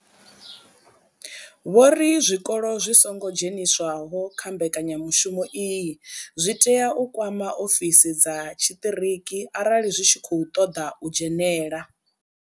Vho ri zwikolo zwi songo dzheniswaho kha mbekanyamushumo iyi zwi tea u kwama ofisi dza tshiṱiriki arali zwi tshi khou ṱoḓa u dzhenela.